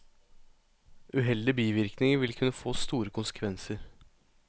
Uheldige bivirkninger vil kunne få store konsekvenser.